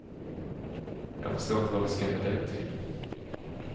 Jag förstår inte vad vi skall med den till.